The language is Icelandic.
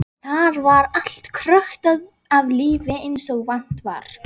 Þar var allt krökkt af lífi eins og vant var.